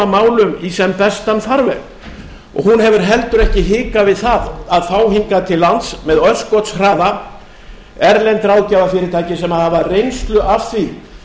málum í sem bestan farveg hún hefur heldur ekki hikað við að fá hingað til lands með örskotshraða erlend ráðgjafa fyrirtæki sem hafa reynslu af því